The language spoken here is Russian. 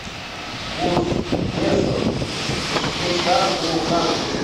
курс песо к швейцарскому франку